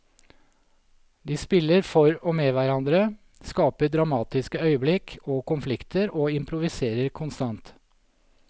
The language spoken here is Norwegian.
De spiller for og med hverandre, skaper dramatiske øyeblikk og konflikter og improviserer konstant.